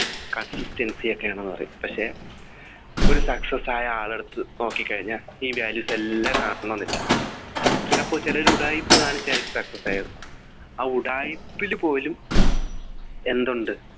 Consistency ഒക്കെയാണെന്നു പറയും പക്ഷെ ഒരു success ആയ ആളെടുത്തു നോക്കി കഴിഞ്ഞാൽ ഈ values എല്ലാം കാണണം എന്നില്ല ചിലപ്പോൾ ചിലർ ഉടായിപ്പ് കാണിച്ചായിരിക്കും success ആയത് ആ ഉടായിപ്പിൽ പോലും എന്ത് ഉണ്ട്